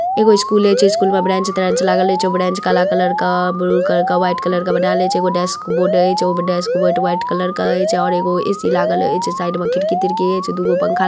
School छे school में bench ट्रेनच लागेल छे ब्रेन्च काला कलर का ब्लू कलर का वाईट कलर का बनायवल हई छे। एगो डेस्क बोर्ड हई जो डेस्क बोर्ड वाइट कलर का छे। और एगो ऐ _सी लागल हई। एचे साईड में खिड़की तिड़की हई। दूगो पंखा लागल हई।